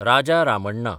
Raja Ramanna